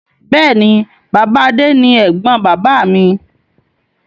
Bẹ́ẹ̀ni, Bàbá Adé ni ẹ̀gbọ́n bàbáà mi.